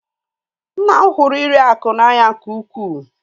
Nna m hụrụ iri akụ n'anya nke ukwuu